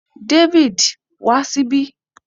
David, wa síbí